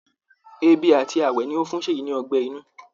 Èbì àti ààwẹ ni ó fún Ṣèyí ní ọgbẹ́ inú